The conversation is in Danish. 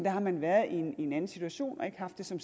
har man været i en anden situation og ikke haft det som